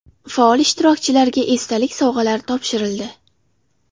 Faol ishtirokchilarga esdalik sovg‘alari topshirildi.